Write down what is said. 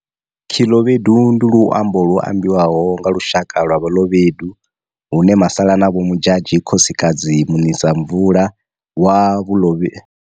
Khilobedu ndi luambo lu ambiwaho nga lushaka lwa balobedu hune Masalanabo Modjadji khosikadzi munisamvula wa balobe.